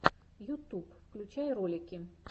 ютуб включай ролики